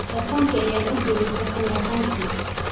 Taleefankii ayaan u geeyey farsamayaqaankii